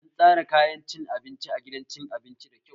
An tsaran kayan cin abincin a gidan cin abincin da kyau